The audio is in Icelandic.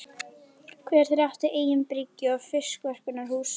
Hver þeirra átti eigin bryggju og fiskverkunarhús.